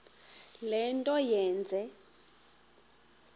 le nto yenze